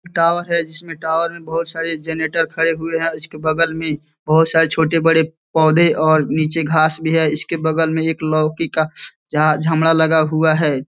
Tower है जिस tower में बहुत सारे जनरेटर खड़े हुए हैं इसके बगल में बहुत सारे छोटे बड़े पौधे और नीचे घास भी है इसके बगल में एक लौकी का झाड़ झमरा लगा हुआ है।